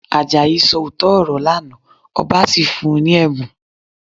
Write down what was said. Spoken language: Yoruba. Àjàyí sọ òótọ́ ọ̀rọ̀ lánàá, ọba sì fún un ní ẹ̀bùn